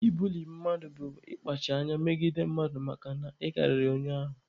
Ibuli mmadụ bụ ịkpacha anya megide mmadụ makana ị karịrị onye ahụ.